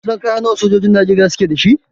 Kin san kaya nawa sojojin Najeriya suke da shi?